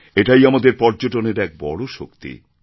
এটাই আমাদের পর্যটনের এক বড় শক্তি